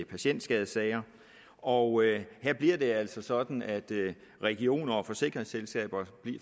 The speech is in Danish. patientskadessager og her bliver det altså sådan at regioner og forsikringsselskaber